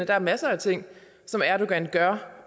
er masser af ting som erdogan gør